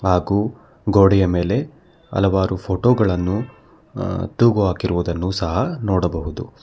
ಹಾಗು ಗೋಡೆಯ ಮೇಲೆ ಹಲವಾರು ಫೋಟೋ ಗಳನ್ನು ಆ ತೂಗು ಹಾಕಿರುವುದನ್ನು ಸಹ ನೋಡಬಹುದು.